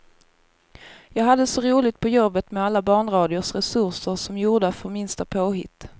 Jag hade så roligt på jobbet med alla barnradions resurser, som gjorda för minsta påhitt.